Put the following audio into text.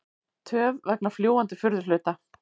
Töf vegna fljúgandi furðuhluta